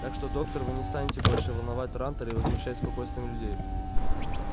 так что доктор вы не станете больше волновать трантор и возмущать спокойствие людей